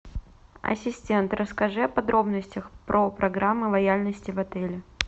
ассистент расскажи о подробностях программы лояльности в отеле